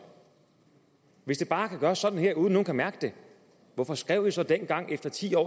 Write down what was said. hvis det bare kan gøres sådan her uden nogen kan mærke det hvorfor skrev man så dengang efter ti år